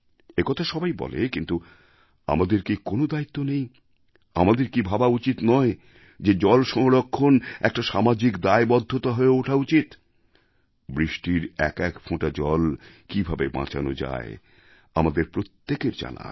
একথা সবাই বলে কিন্তু আমাদের কি কোনও দায়িত্ব নেই আমাদের কি ভাবা উচিৎ নয় যে জলসংরক্ষণ একটা সামাজিক দায়বদ্ধতা হয়ে ওঠা উচিৎ বৃষ্টির একএক ফোঁটা জল কীভাবে বাঁচান যায় আমাদের প্রত্যেকের তা জানা আছে